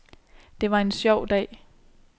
Det var en sjov dag.